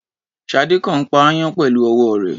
Ṣadé kàn ń pa aáyán pẹ̀lú ọwọ́ rẹ̀.